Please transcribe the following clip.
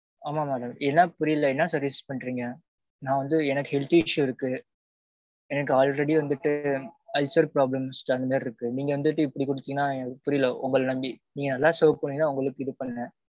ஆமாம் madam இதான் புரியல என்ன service பண்றீங்க? நான் வந்து எனக்கு health issue இருக்கு. எனக்கு already வந்திட்டு ulcer problems அந்த மாறி இருக்கு. நீங்க வந்திட்டு இப்பிடி குடுத்தீங்கனா புரியல உங்கள நம்பி. நீங்க நல்லா serve பண்ணுவீங்கன்னு தான் உங்களுக்கு இது பண்ணேன்.